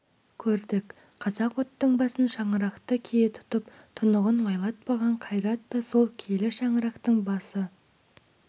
көрдік қазақ оттың басын шаңырақты кие тұтып тұнығын лайлатпаған қайрат та сол киелі шаңырақтың басы